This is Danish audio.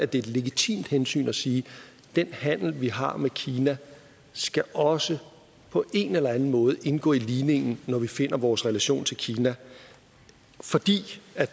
det er et legitimt hensyn at sige at den handel vi har med kina også på en eller anden måde skal indgå i ligningen når vi finder vores relation til kina fordi